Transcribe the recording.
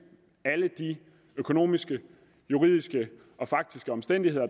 alle de økonomiske juridiske og faktiske omstændigheder